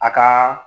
A ka